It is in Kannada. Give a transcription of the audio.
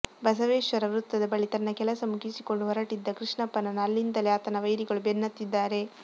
ಬಸವೇಶ್ವರ ವೃತ್ತದ ಬಳಿ ತನ್ನ ಕೆಲಸ ಮುಗಿಸಿಕೊಂಡು ಹೊರಟಿದ್ದ ಕೃಷ್ಣಪ್ಪನನ್ನು ಅಲ್ಲಿಂದಲೇ ಆತನ ವೈರಿಗಳು ಬೆನ್ನತ್ತಿದ್ದಾರೆ